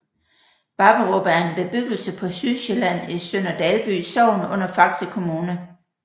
Babberup er en bebyggelse på Sydsjælland i Sønder Dalby Sogn under Faxe Kommune